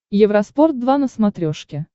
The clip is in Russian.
евроспорт два на смотрешке